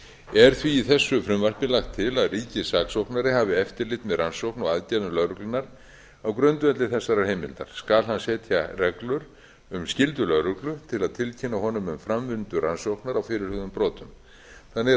er því í þessu frumvarpi lagt til að ríkissaksóknari hafi eftirlit með rannsókn og aðgerðum lögreglunnar á grundvelli þessarar heimildar skal hann setja reglur um skyldu lögreglu til að tilkynna honum um framvindu rannsóknar á fyrirhuguðum brotum þannig er